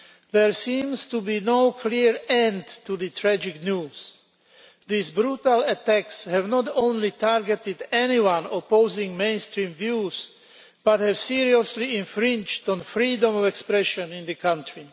There seems to be no clear end to the tragic news. These brutal attacks have not only targeted anyone opposing mainstream views, but have seriously infringed freedom of expression in the country.